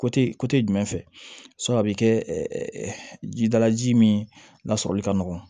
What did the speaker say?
jumɛn fɛ a bɛ kɛ jidala ji min lasɔrɔli ka nɔgɔ